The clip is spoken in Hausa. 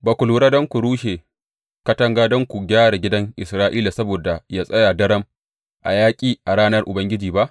Ba ku haura don ku rushe katanga don ku gyara gidan Isra’ila saboda ya tsaya daram a yaƙi a ranar Ubangiji ba.